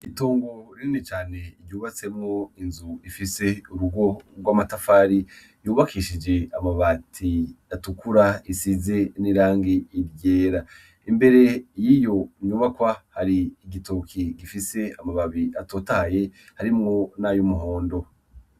Itongo rimwe cane iryubatsemwo inzu ifise urugo rw'amatafari yubakishije amabati atukura isize n'irangi iryera imbere y'iyo nyubakwa hari igitoki gifise amababi atotaye harimwo niayo umuhondo.